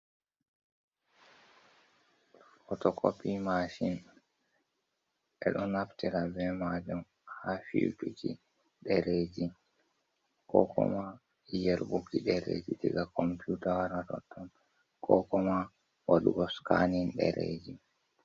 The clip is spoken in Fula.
Fotokopi mashin ɓeɗo naftira be majum ha fiyutuki ɗereji, ko koma yerɓuki ɗereji diga komputa waratotton, ko koma waɗugo skanin ɗereji.